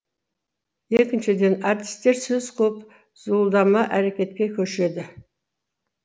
екіншіден артистер сөз қуып зуылдама әрекетке көшеді